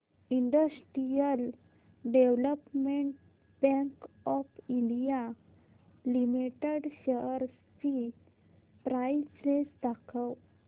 industrial development bank of India limited shares ची price range दाखव